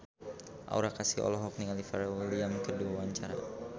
Aura Kasih olohok ningali Pharrell Williams keur diwawancara